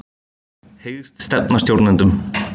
Hyggst stefna stjórnendum